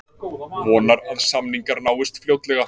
Vonar að samningar náist fljótlega